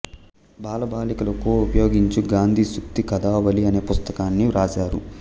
బాలబాలికలకు ఉపయోగించు గాంధీ సూక్తి కధావళి అనే పుస్తకాన్ని వ్రాశారు